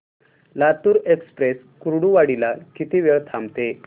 Latur express Kurduwadi ला किती वेळ थांबते